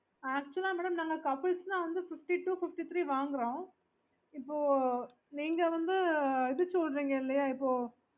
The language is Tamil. okayokay mam yes yes